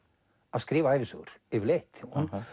að skrifa ævisögur yfirleitt